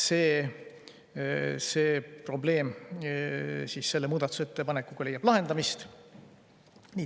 See probleem leiab selle muudatusettepanekuga lahendamist.